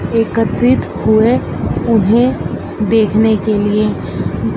एकत्रित हुए उन्हें देखने के लिए--